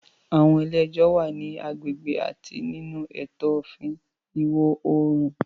Àwọn ilé ẹjọ́ wà ní agbègbè àti nínú ètò òfin Ìwọ̀ Oòrùn.